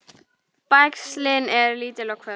Bægslin eru lítil og hvöss.